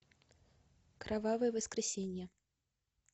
кровавое воскресенье